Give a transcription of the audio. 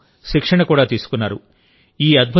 ఇందుకోసం శిక్షణ కూడా తీసుకున్నారు